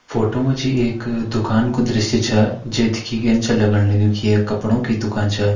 Photo मजी एक दुकान को द्रश्य छ जे देखै यन छ लगण लग्युं की ये कपड़ों की दुकान छ।